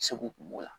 Segu kun b'o la